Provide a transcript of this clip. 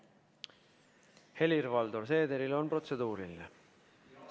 Helir-Valdor Seederil on protseduuriline küsimus.